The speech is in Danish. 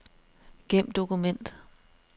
Gem dokument.